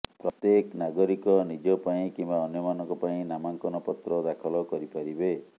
ପ୍ରତ୍ୟେକ ନାଗରିକ ନିଜ ପାଇଁ କିମ୍ୱା ଅନ୍ୟମାନଙ୍କ ପାଇଁ ନାମାଙ୍କନ ପତ୍ର ଦାଖଲ କରିପାରିବେ